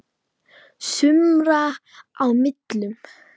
sumra á millum.